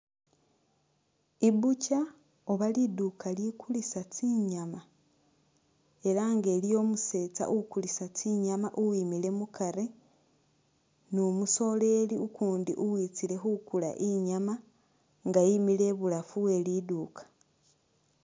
I butcher oba liduuka likulisa tsinyama elanga liliyo umusetsa ukulisa tsinyama uwimilw mukari numusoleli ukundi uwitsile khukula inyama nga wimile ibulafu we liduuka.